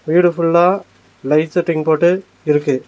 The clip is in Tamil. வீடு ஃபுல்லா லைட் செட்டிங் போட்டு இருக்கு.